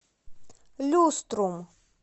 люструм